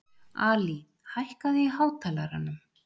Ali, hækkaðu í hátalaranum.